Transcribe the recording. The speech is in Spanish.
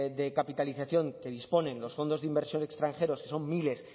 de capitalización que disponen los fondos de inversión extranjeros que son miles